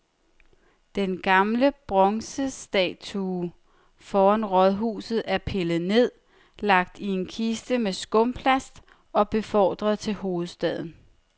Den gamle bronzestatue foran rådhuset er pillet ned, lagt i en kiste med skumplast og befordret til hovedstaden.